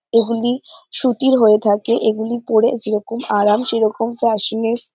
এগুলি সুতির হয়ে থাকেএগুলি পরে যেরকম আরাম সেরকম ফ্যসিনিস্ট --